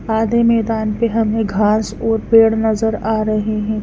आधे मैदान प हमें घास और पेड़ नजर आ रहे हैं।